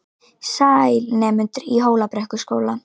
Sæl, nemendur í Hólabrekkuskóla.